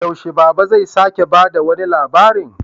Yaushe Baba zai sake ba da wani labarin?